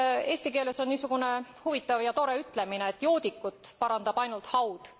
Eesti keeles on niisugune huvitav ja tore ütlemine, et joodikut parandab ainult haud.